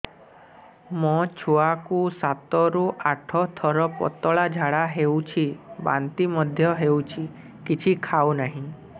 ମୋ ଛୁଆ କୁ ସାତ ରୁ ଆଠ ଥର ପତଳା ଝାଡା ହେଉଛି ବାନ୍ତି ମଧ୍ୟ୍ୟ ହେଉଛି କିଛି ଖାଉ ନାହିଁ